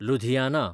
Ludhiana